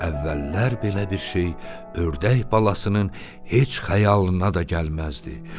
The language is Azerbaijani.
Əvvəllər belə bir şey ördək balasının heç xəyalına da gəlməzdi.